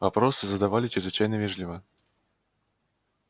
вопросы задавали чрезвычайно вежливо